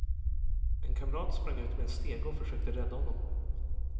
En kamrat sprang ut med en stege och försökte rädda honom.